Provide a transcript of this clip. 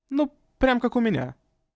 ну прям как у меня